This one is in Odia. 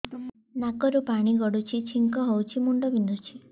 ନାକରୁ ପାଣି ଗଡୁଛି ଛିଙ୍କ ହଉଚି ମୁଣ୍ଡ ବିନ୍ଧୁଛି